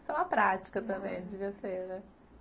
Isso é uma prática também, devia ser, né?